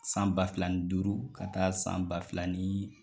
San ba fila ni duuru ka taa san ba fila ni